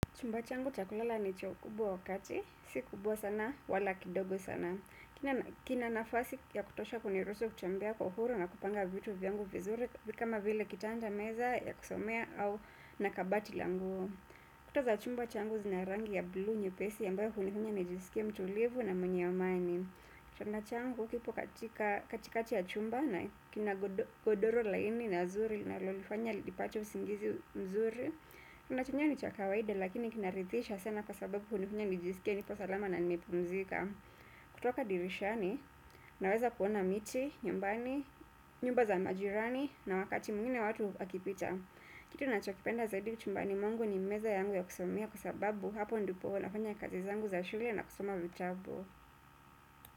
Chumba changu cha kulala ni cha ukubwa wa kati, si kubwa sana, wala kidogo sana. Kina nafasi ya kutosha kuniruhusu kutembea kwa uhuru na kupanga vitu vyangu vizuri kama vile kitanda meza ya kusomea au na kabati la nguo. Kuta za chumba changu zina rangi ya bluu nyepesi ambayo hunifanya nijisikie mtulivu na mwenye amani. Chumba changu kipo katikati ya chumba na kina godoro laini na zuri linalonifanya nipate usingizi mzuri. Unachokiona ni cha kawaida lakini kinaridhisha sana kwa sababu hunifunya nijisike nipo salama na nimepumzika. Kutoka dirishani, naweza kuona miti, nyumbani, nyumba za majirani na wakati mwingine watu akipita. Kitu ninachokipenda zaidi chumbani mwangu ni meza yangu ya kusomea kwa sababu hapo ndipo huwa nafanya kazi zangu za shule na kusoma vitabu.